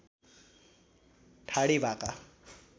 ठाडी भाका